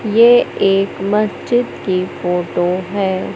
ये एक मस्जिद की फोटो है।